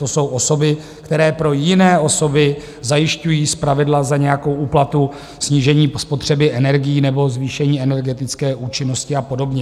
To jsou osoby, které pro jiné osoby zajišťují zpravidla za nějakou úplatu snížení spotřeby energií nebo zvýšení energetické účinnosti a podobně.